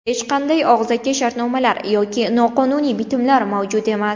Hech qanday og‘zaki shartnomalar yoki noqonuniy bitimlar mavjud emas.